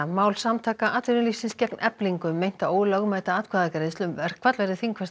mál Samtaka atvinnulífsins gegn Eflingu um meinta ólögmæta atkvæðagreiðslu um verkfall verður þingfest